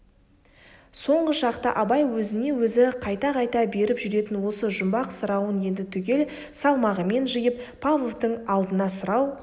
соңғы шақта абай өзіне өзі қайта-қайта беріп жүретін осы жұмбақ сұрауын енді түгел салмағымен жиып павловтың алдына сұрау